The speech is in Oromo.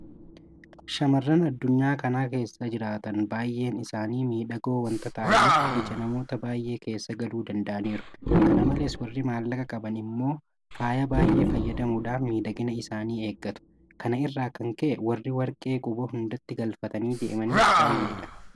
Shaamarran addunyaa kana keessa jiraatan baay'een isaanii miidhagoo waanta ta'aniif ija namoota baay'ee keessa galuu danda'aniiru. Kana malees warri maallaqa qaban immoo faaya baay'ee fayyadamuudhaan miidhagina isaanii eeggatu. Kana irraa kan ka'e warri warqee quba hundatti galfatanii deemanis baay'eedha.